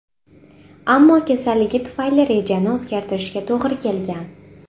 Ammo kasalligi tufayli rejani o‘zgartirishga to‘g‘ri kelgan.